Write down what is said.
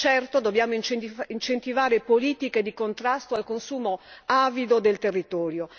Certo, dobbiamo incentivare politiche di contrasto al consumo avido del territorio.